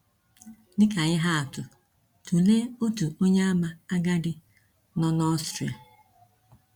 Dị ka ihe atụ, tụlee otu Onyeàmà agadi nọ n’Ọstrịa.